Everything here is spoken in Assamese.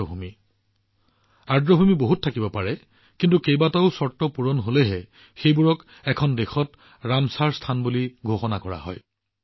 যিকোনো দেশতে আৰ্দ্ৰভূমি থাকিব পাৰে কিন্তু এইবোৰে বহুতো চৰ্ত পূৰণ কৰিব লাগে তেতিয়াহে এইবোৰক ৰামচৰ স্থান হিচাপে ঘোষণা কৰা হয়